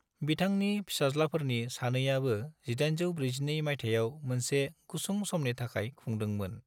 बिथांनि फिसाज्लाफोरनि सानैयाबो 1842 माइथायाव मोनसे गुसुं समनि थाखाय खुंदोंमोन।